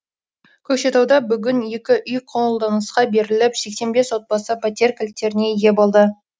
көкшетауда бүгін екі үй қолданысқа беріліп сексен бес отбасы пәтер кілттеріне ие болды